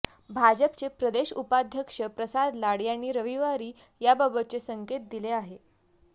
भाजपचे प्रदेश उपाध्यक्ष प्रसाद लाड यांनी रविवारी याबाबतचे संकेत दिले आहेत